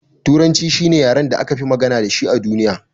Turanci shine yaren da akafi magana dashi a duniya.